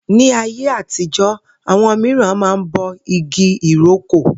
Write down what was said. Ní ayé àtijó̩, àwo̩n mìíràn máa ń bo igi ìrókò